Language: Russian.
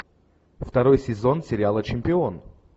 второй сезон сериала чемпион